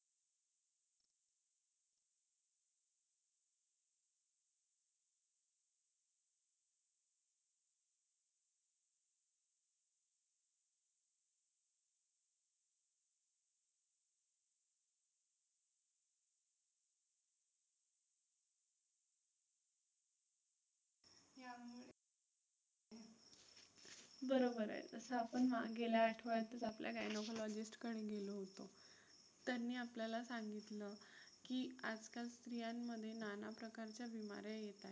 बरोबर आहे. जसं आपण गेल्या आठवड्यातच आपल्या gynecologist कडे गेलो होतो. त्यांनी आपल्याला सांगितलं की आजकाल स्त्रियांमध्ये नाना प्रकारचे बीमाऱ्या येत आहेत.